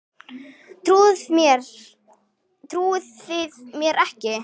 Trúið þið mér ekki?